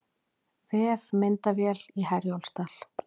Vefmyndavél í Herjólfsdal